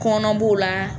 Kɔnɔn b'o la